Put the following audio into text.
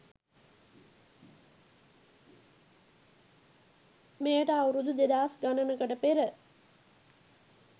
මෙයට අවුරුදු දෙදහස් ගණනකට පෙර